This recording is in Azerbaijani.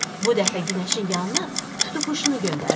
Bu dəfə günəşin yanına tutuquşunu göndərdilər.